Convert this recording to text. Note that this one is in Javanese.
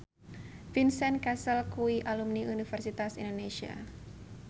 Vincent Cassel kuwi alumni Universitas Indonesia